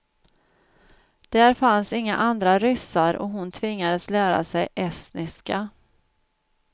Där fanns inga andra ryssar och hon tvingades lära sig estniska.